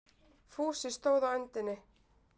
Fúsi stóð á öndinni.